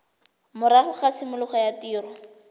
morago ga tshimologo ya tiriso